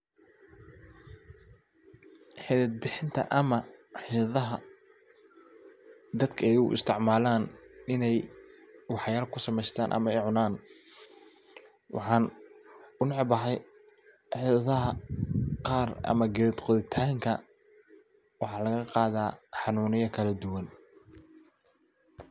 Xidhid bixinta ama xidhidhaha daka ey uisticmalaan iney wax yaala kusameysataan ama ey cunaan waxaan unacbahy xidhidhaxa qaar ama geed qodhitaanka xanuunya kaladuwan.